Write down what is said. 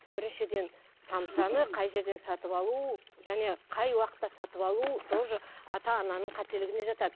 біріншіден самсаны қай жерден сатып алу және қай уақытта сатып алу тоже ата ананың қателігіне жатады